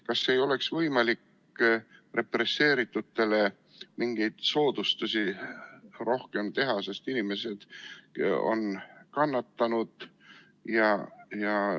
Kas ei oleks võimalik represseeritutele rohkem mingeid soodustusi teha, sest inimesed on kannatanud?